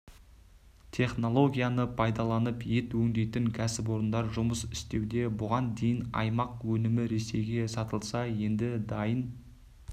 технологияны пайдаланып ет өңдейтін кәсіпорындар жұмыс істеуде бұған дейін аймақ өнімі ресейге сатылса енді дайын